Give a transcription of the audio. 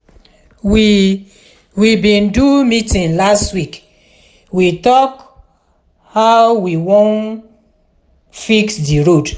we we bin do meeting last week we tok how we wan fix di road.